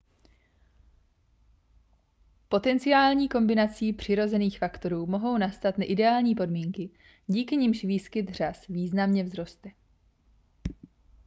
potenciální kombinací přirozených faktorů mohou nastat ideální podmínky díky nimž výskyt řas významně vzroste